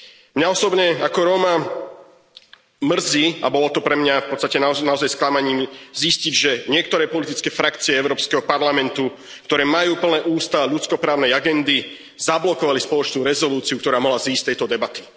Mňa osobne ako Róma mrzí a bolo to pre mňa v podstate naozaj sklamaním zistiť, že niektoré politické frakcie Európskeho parlamentu, ktoré majú plné ústa ľudsko právnej agendy zablokovali spoločnú rezolúciu, ktorá mohla vzísť z tejto debaty.